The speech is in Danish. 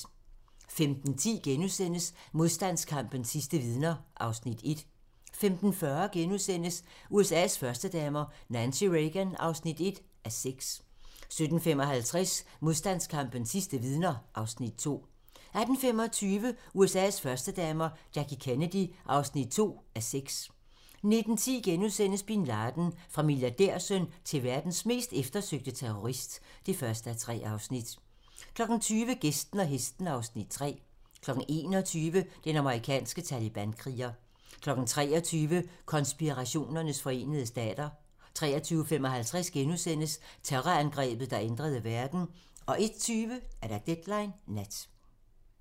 15:10: Modstandskampens sidste vidner (Afs. 1)* 15:40: USA's førstedamer - Nancy Reagan (1:6)* 17:55: Modstandskampens sidste vidner (Afs. 2) 18:25: USA's førstedamer - Jackie Kennedy (2:6) 19:10: Bin Laden - Fra milliardærsøn til verdens mest eftersøgte terrorist (1:3)* 20:00: Gæsten og hesten (Afs. 3) 21:00: Den amerikanske talibankriger 23:00: Konspirationernes forenede stater 23:55: Terrorangrebet, der ændrede verden * 01:20: Deadline nat